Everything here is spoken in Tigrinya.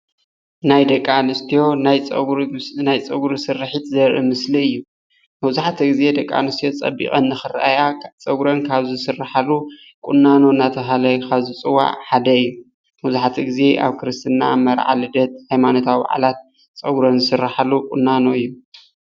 ናይ ደቂ ኣንስትዪ ናይ ፀጉሪ ስርሒት ዘርኢ ምስሊ እዩ። መብዛሕትኡ ግዜ ደቅኣንስትዮ ፀቢቀን ንኽረአያ ፀጉረን ካብ ዝስራሕሉ ቁናኖ ተባሂሉ ካብ ዝፍለጥ ሓደ እዩ። መብዛሕትኡ ግዜ ኣብ ክርስትና፣ መርዓ ፣ልደት ፣ ሃይማኖታዊ በዓላት ፀጉረን ዝሰራሓሉ ቁናኖ እዩ።